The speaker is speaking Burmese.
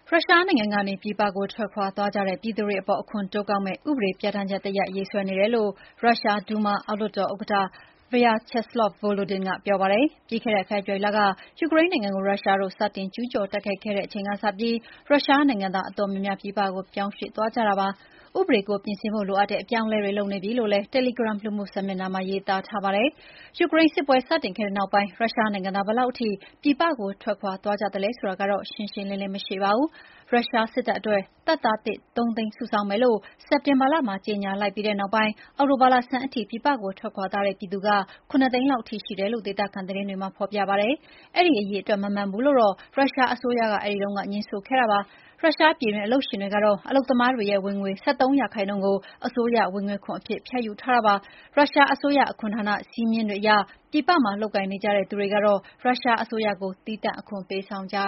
ရုရှားနိုင်ငံကနေ ပြည်ပကို ထွက်ခွါသွားကြတဲ့ ပြည်သူတွေအပေါ် အခွန်တိုးကောက်မဲ့ ဥပဒေပြဌာန်းချက် တရပ်ရေးဆွဲနေတယ်လို့ ရုရှား Duma အောက်လွှတ်တော်ဥက္ကဌ Vyacheslav Volodin ကပြောပါတယ်။ ပြီးခဲ့တဲ့ဖေဖော်ဝါရီလက ယူကရိန်းနိုင်ငံကို ရုရှားတို့ စတင်ကျူးကျော်တိုက်ခိုက်တဲ့ အချိန်ကစပြီး ရုရှားနိုင်ငံသားအတော်များများ ပြည်ပကိုပြောင်းရွှေ့သွားကြတာပါ။ ဥပဒေကို ပြင်ဆင်ဖို့ လိုအပ်တဲ့ အပြောင်းအလဲတွေလုပ်နေပြီလို့လည်း တယ်လီဂရမ် လူမှုစာမျက်နှာမှာ ရေးသားပါတယ်။ ယူကရိန်း စစ်ပွဲစတင်ခဲ့တဲ့နောက်ပိုင်း ရုရှားနိုင်ငံသား ဘယ်လောက်ထိ ပြည်ပကို ထွက်ခွါသွားကြသလဲဆိုတာကတော့ ရှင်းရှင်းလင်းလင်းမရှိပါဘူး။ ရုရှားစစ်တပ်အတွက် တပ်သားသစ် ၃ သိန်းစုဆောင်းမယ်လို့ စက်တင်ဘာလမှာ ကြေညာလိုက်ပြီးတဲ့နောက်ပိုင်း အောက်တိုဘာလဆန်းထိ ပြည်ပကိုထွက်ခွါသွားတဲ့ ပြည်သူ ၇ သိန်းလောက်ထိရှိတယ်လို့ ဒေသခံသတင်းတွေမှာ ဖော်ပြကြပါတယ်။ အဲဒီအရေအတွက် မမှန်ဘူးလို ရုရှားအစိုးရကက အဲဒီတုန်းက ငြင်းဆိုခဲ့ပါတယ်။ ရုရှား ပြည်တွင်း အလုပ်ရှင်တွေကတော့ အလုပ်သမားတွေရဲ့ဝင်ငွေ ၁၃% ကို အစိုးရဝင်ငွေခွန်အဖြစ် ဖြတ်ယူထားတာပါ။ ရုရှားအစိုးရ အခွန်ဌာန စည်းမျဉ်းတွေအရ ပြည်ပမှာလုပ်ကိုင်နေကြတဲ့ သူတွေကတော့ ရုရှားအစိုးရကို သီးသန့်အခွန်ပေးဆောင်ကြရ